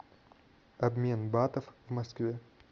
обмен батов в москве